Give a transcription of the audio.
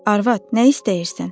Arvad, nə istəyirsən?